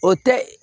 O tɛ